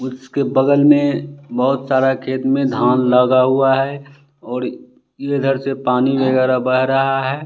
उसके बगल में बहोत सारा खेत में धान लगा हुआ है और इधर से पानी वगैरह बह रहा है।